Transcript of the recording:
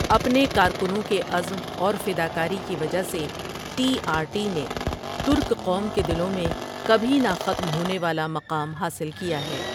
اپنے کارکنوں کے عزم اور فداکاری کی وجہ سے ٹی آر ٹی نے ترک قوم کے دلوں مین کبھی نہ ختم ہونے والا مقام حاصل کیا ہے ۔